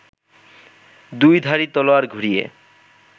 দুইধারী তলোয়ার ঘুরিয়ে